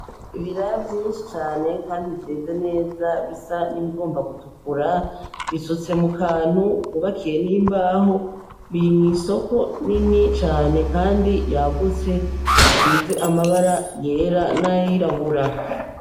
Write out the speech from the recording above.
Ibiraya vyinshi cane kandi vyeze neza bisa nk'ibigomba gutukura, bisutse mukantu k'ubakiye mw'imbaho, biri mwisoko nini cane kandi yagutse isize amabara yera n'ayirabura.